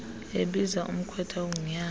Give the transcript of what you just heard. ebiza umkhwetha ongunyana